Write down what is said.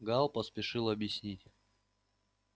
гаал поспешил объясниться